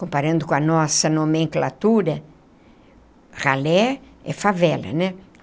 Comparando com a nossa nomenclatura, ralé é favela, né?